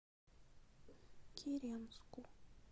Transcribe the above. киренску